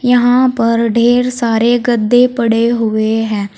यहां पर ढेर सारे गद्दे पड़े हुए हैं।